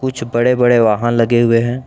सब बड़े बड़े वाहन लगे हुए हैं।